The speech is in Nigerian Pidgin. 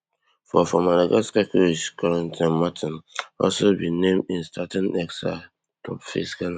for for madagascar coach corentin martins also bin name im starting xi top face ghana